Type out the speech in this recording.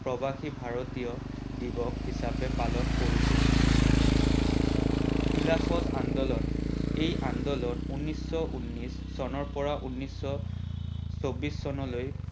প্ৰবাসি ভাৰতীয় দিৱস হিচাপে পালন কৰিছিল। খিলাফত আন্দোলন এই আন্দোলন ঊনৈষশ উনিশ চনৰ পৰা ঊনিশ চৌবিশ চনলৈ